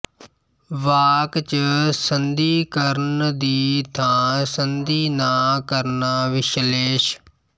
ਵਾਕ ਚ ਸੰਧੀ ਕਰਨ ਦੀ ਥਾਂ ਸੰਧੀ ਨਾ ਕਰਨਾ ਵਿਸ਼ਲੇਸ਼